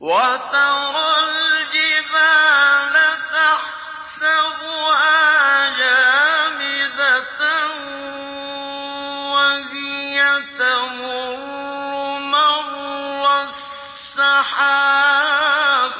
وَتَرَى الْجِبَالَ تَحْسَبُهَا جَامِدَةً وَهِيَ تَمُرُّ مَرَّ السَّحَابِ ۚ